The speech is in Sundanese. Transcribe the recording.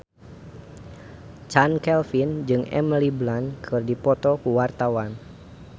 Chand Kelvin jeung Emily Blunt keur dipoto ku wartawan